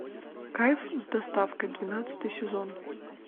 кайф с доставкой двенадцатый сезон